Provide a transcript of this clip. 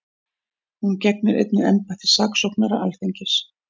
Hún gegnir einnig embætti saksóknara Alþingis